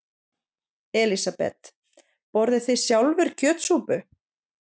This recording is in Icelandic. Elísabet: Borðið þið sjálfir kjötsúpu?